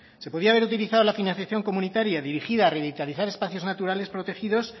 se podría haber utilizado la financiación comunitaria dirigida a revitalizar espacios naturales protegidos